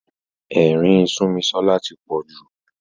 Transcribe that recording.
Ẹ̀rín Súnmisọ́lá tí pọ̀ jù.